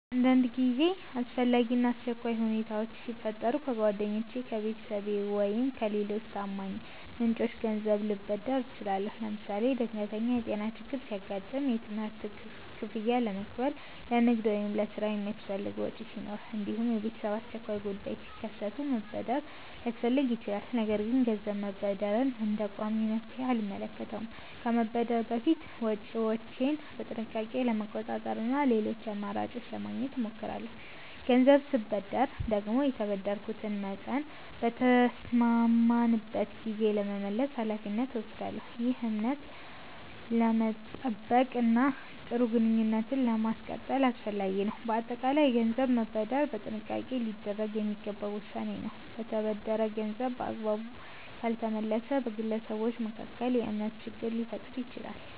አንዳንድ ጊዜ አስፈላጊ እና አስቸኳይ ሁኔታዎች ሲፈጠሩ ከጓደኞቼ፣ ከቤተሰቤ ወይም ከሌሎች ታማኝ ምንጮች ገንዘብ ልበደር እችላለሁ። ለምሳሌ ድንገተኛ የጤና ችግር ሲያጋጥም፣ የትምህርት ክፍያ ለመክፈል፣ ለንግድ ወይም ለሥራ የሚያስፈልግ ወጪ ሲኖር፣ እንዲሁም የቤተሰብ አስቸኳይ ጉዳዮች ሲከሰቱ መበደር ሊያስፈልግ ይችላል። ነገር ግን ገንዘብ መበደርን እንደ ቋሚ መፍትሔ አልመለከተውም። ከመበደር በፊት ወጪዎቼን በጥንቃቄ ለመቆጣጠር እና ሌሎች አማራጮችን ለማግኘት እሞክራለሁ። ገንዘብ ስበደር ደግሞ የተበደርኩትን መጠን በተስማማንበት ጊዜ ለመመለስ ኃላፊነት እወስዳለሁ። ይህ እምነትን ለመጠበቅ እና ጥሩ ግንኙነትን ለማስቀጠል አስፈላጊ ነው። በአጠቃላይ ገንዘብ መበደር በጥንቃቄ ሊደረግ የሚገባ ውሳኔ ነው። የተበደረ ገንዘብ በአግባቡ ካልተመለሰ በግለሰቦች መካከል የእምነት ችግር ሊፈጠር ይችላል።